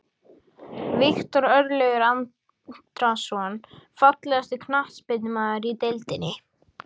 Viktor Örlygur Andrason Fallegasti knattspyrnumaðurinn í deildinni?